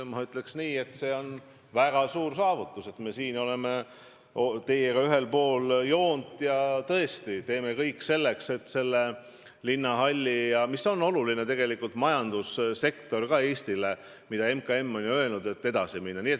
Ma ütleks, et see on väga suur saavutus, et me oleme nüüd teiega ühel pool joont ja tõesti teeme kõik, et linnahalliga, mis on Eestile ka oluline majandusobjekt, nagu ka MKM on ju öelnud, edasi minna.